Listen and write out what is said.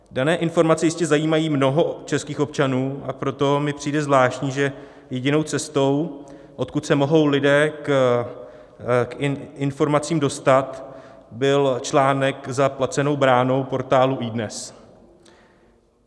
Dané informace jistě zajímají mnoho českých občanů, a proto mi přijde zvláštní, že jedinou cestou, odkud se mohou lidé k informacím dostat, byl článek za placenou bránou portálu iDNES.